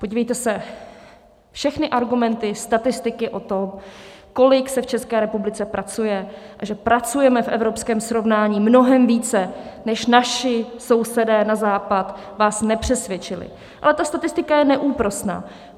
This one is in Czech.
Podívejte se, všechny argumenty, statistiky o tom, kolik se v České republice pracuje a že pracujeme v evropském srovnání mnohem více než naši sousedé na západ, vás nepřesvědčily, ale ta statistika je neúprosná.